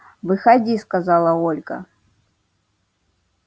выходи сказала ольга